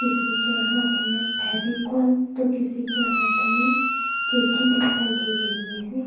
किसी के हाथ में फेविकोल तो किसी के हाथ में कैंची दिखाई दे रही है।